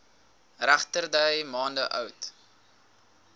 regterdy maande oud